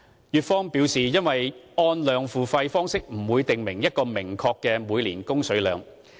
粵方表示，"按量付費"方式不會訂明一個明確的每年供水量。